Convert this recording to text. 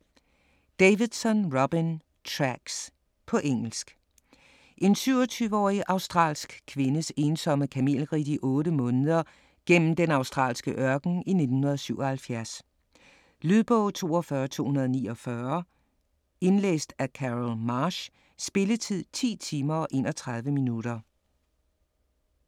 Davidson, Robyn: Tracks På engelsk. En 27-årig australsk kvindes ensomme kamelridt i 8 måneder gennem den australske ørken i 1977. Lydbog 42249 Indlæst af Carol Marsh Spilletid: 10 timer, 31 minutter.